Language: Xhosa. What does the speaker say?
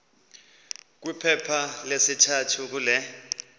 kwiphepha lesithathu kule